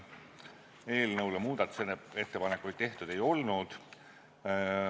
Eelnõu kohta muudatusettepanekuid tehtud ei olnud.